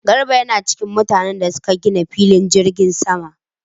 Garba yana cikin mutanen da suka gina filin jirgin sama